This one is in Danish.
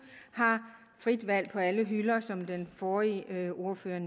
har frit valg på alle hylder som den forrige ordfører